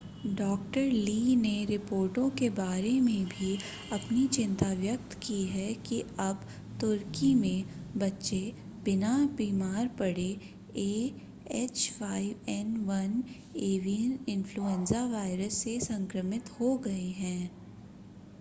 डॉ. ली ने रिपोर्टों के बारे में भी अपनी चिंता व्यक्त की है कि अब तुर्की में बच्चे बिना बिमार पड़े एएच5एन1 एवियन इन्फ़्लूएंजा वायरस से संक्रमित हो गए हैं